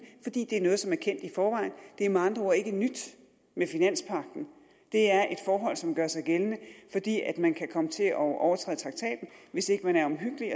fordi det er noget som er kendt i forvejen det er med andre ord ikke nyt med finanspagten det er et forhold som gør sig gældende fordi man kan komme til at overtræde traktaten hvis ikke man er omhyggelig